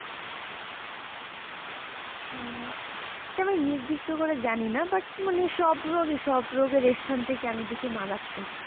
আহ তা আমি নির্দিষ্ট করে জানিনা তো but মানে সব রোগই সব রোগের এস্থান থেকে আমি দেখি মারাত্মক।